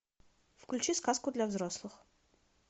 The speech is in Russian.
включи сказку для взрослых